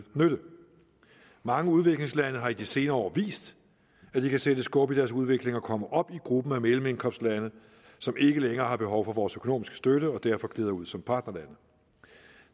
nytte mange udviklingslande har i de senere år vist at de kan sætte skub i deres udvikling og komme op i gruppen af mellemindkomstlande som ikke længere har behov for vores økonomiske støtte og derfor glider ud som partnerlande